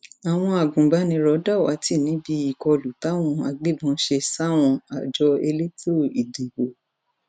àwọn agbanibánirò dàwátì níbi ìkọlù táwọn agbébọn ṣe sáwọn àjọ elétò ìdìbò